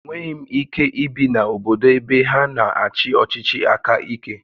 Enweghị m ike ibi na obodo ebe ha na-achị ọchịchị aka ike